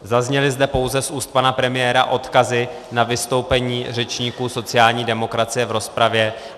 Zazněly zde pouze z úst pana premiéra odkazy na vystoupení řečníků sociální demokracie v rozpravě.